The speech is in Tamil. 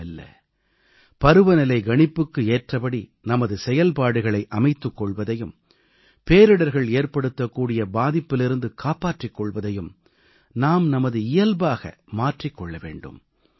மெல்ல மெல்ல பருவநிலை கணிப்புக்கு ஏற்றபடி நமது செயல்பாடுகளை அமைத்துக் கொள்வதையும் பேரிடர்கள் ஏற்படுத்தக் கூடிய பாதிப்பிலிருந்து காப்பாற்றிக் கொள்வதையும் நாம் நமது இயல்பாக மாற்றிக் கொள்ள வேண்டும்